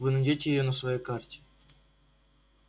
вы найдёте её на своей карте